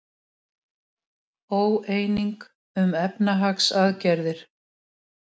Óeining um efnahagsaðgerðir